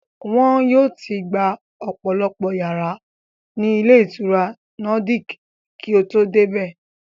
Wọ́n yóò ti gba ọ̀pọ̀lọpọ̀ yàrá ní ilé ìtura Nordic kí o tó dé bẹ̀